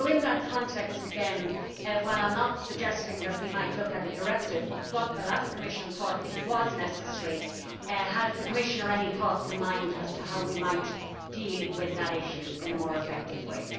So in that context, again, while I am not suggesting that we might look at a directive but the last Commission thought it was necessary has the Commissioner any thoughts in mind as to how we might deal with that issue in a more effective way?